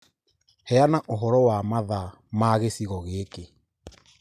Heana ũhoro wa mathaa ma gĩcigo gĩkĩ.